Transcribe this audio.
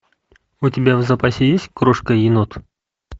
у тебя в запасе есть крошка енот